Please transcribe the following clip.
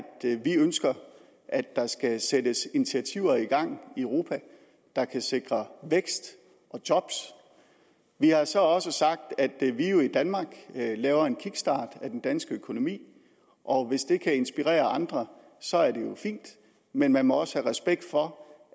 vi ønsker at der skal sættes initiativer i gang i europa der kan sikre vækst og job vi har så også sagt at vi jo i danmark laver en kickstart af den danske økonomi og hvis det kan inspirere andre så er det jo fint men man må også have respekt for